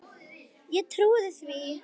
Ég trúði því.